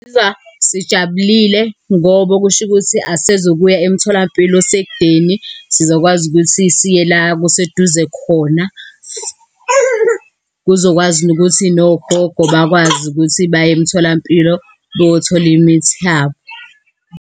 Sizizwa sijabulile ngoba okusho ukuthi asisezukuya emtholampilo osekudeni. Sizokwazi ukuthi siye la kuseduze khona. Kuzokwazi nokuthi nogogo bakwazi ukuthi baye emitholampilo beyothola imithi yabo.